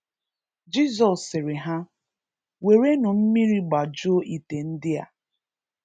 Jisọs sịrị ha, werenụ mmiri gbajụe ịte ndị a.